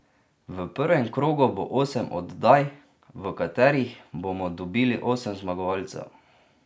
V prvem krogu bo osem oddaj, v katerih bomo dobili osem zmagovalcev.